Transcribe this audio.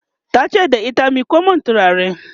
tace da ita " miƙo min turare!"